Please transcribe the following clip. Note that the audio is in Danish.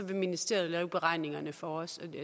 vil ministeriet lave beregningerne for os